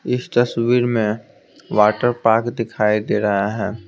इस तस्वीर में वाटर पार्क दिखाई दे रहा है।